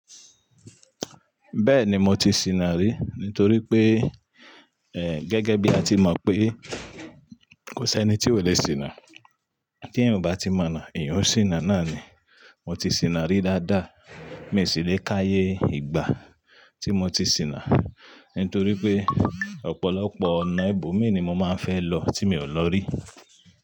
Bẹ́ẹ̀ni mo ti sìnà rí nítorí pé, eh gẹ́gẹ́ bí a ti mọ̀ pé kò sẹ́ni tí ò le sìnà. T'eẹ̀yan ò bá ti mọ̀nà, ẹ̀yan ó sìnà náà ni. Mo ti sìnà rí dáadáa, mi sì lè káyé ìgbà tí mo ti sìnà nítorí pé ọ̀pọ̀lọpọ̀ ọ̀nà ibo mi ni mo máa ń fẹ́ lọ tí mi ò lọ rí.